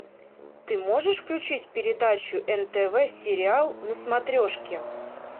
ты можешь включить передачу нтв сериал на смотрешке